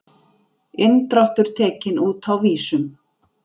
Inndráttur tekinn út á vísum